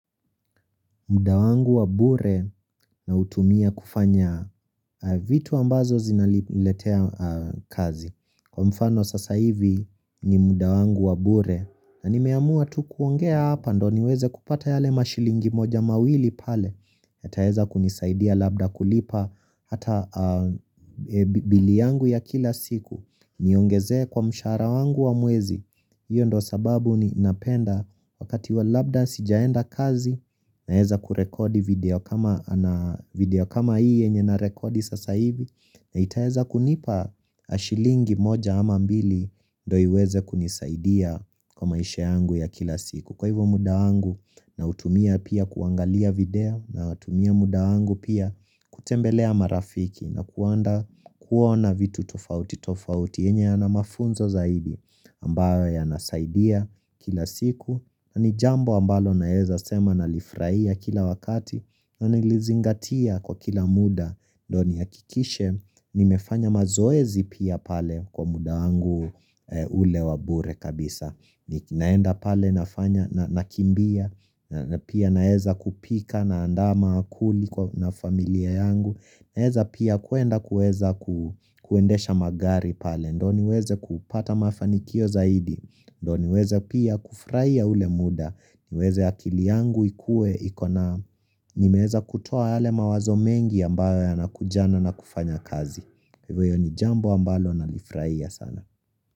Muda wangu wa bure nautumia kufanya vitu ambazo zinaletea kazi. Kwa mfano sasa hivi ni muda wangu wa bure na nimeamua tu kuongea hapa ndo niweze kupata yale mashilingi moja mawili pale. Yataweza kunisaidia labda kulipa hata bili yangu ya kila siku. Niongezee kwa mshahara wangu wa mwezi. Iyo ndo sababu ni napenda wakati wa labda sijaenda kazi na heza kurekodi video kama iye nye na rekodi sasa hivi na itaeza kunipa ashilingi moja ama mbili ndoi weze kunisaidia kwa maisha yangu ya kila siku. Kwa hivyo muda wangu nautumia pia kuangalia video na utumia muda wangu pia kutembelea marafiki na kuenda kuona vitu tofauti tofauti. Enye yana mafunzo zaidi ambayo ya nasaidia kila siku na nijambo ambalo naeza sema na lifraia kila wakati na nilizingatia kwa kila muda. Ndio nihakikishe nimefanya mazoezi pia pale kwa muda wangu ule wa bure kabisa. Ni naenda pale nafanya nakimbia Pia naeza kupika naandama maankuli na familia yangu Naeza pia kuenda kuweza kuendesha magari pale ndo niweze kupata mafanikio zaidi ndo niweze pia kufurahia ule muda niweze akili yangu ikue ikona Nimeweza kutoa yale mawazo mengi ambayo yanakuja na na kufanya kazi Hivyo ni jambo ambayo nalifurahia sana.